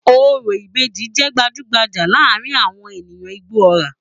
Orò ìbejì jẹ́ gbajú-gbajà láàárín àwọn ènìyàn Igbóọrà